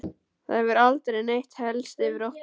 Það hefur aldrei neitt hellst yfir okkur.